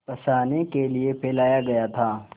फँसाने के लिए फैलाया गया था